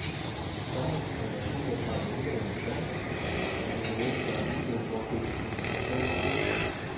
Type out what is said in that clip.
Samlet er der syv og tredive hundrede danskere, som har benyttet sig af muligheden for at købe obligationer billigt.